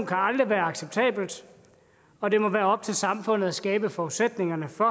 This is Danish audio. kan aldrig være acceptabelt og det må være op til samfundet at skabe forudsætningerne for